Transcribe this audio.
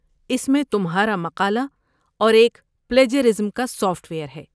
اس میں تمہارا مقالہ اور ایک پلیجرازم کا سافٹ ویر ہے۔